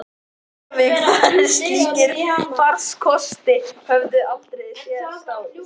Reykjavík, þar sem slíkir farkostir höfðu aldrei áður sést.